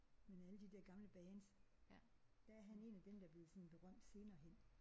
Men alle de der gamle bands. Der er han en af dem der blevet sådan berømt senere hen